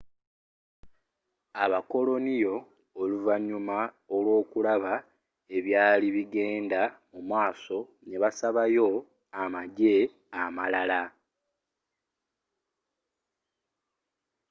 abakoloniyo oluvanyuma lw'okulaba ebyari bigenda musmaso nebasabayo amajje amalala